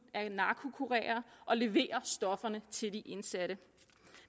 er narkokurerer der leverer stofferne til de indsatte